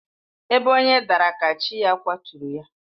Ebe onye daara ka chi ya kwaturu ya.